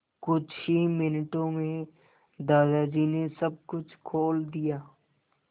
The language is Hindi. कुछ ही मिनटों में दादाजी ने सब कुछ खोल दिया